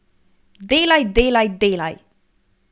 Delaj, delaj, delaj!